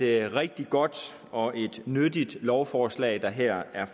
rigtig godt og et nyttigt lovforslag der her er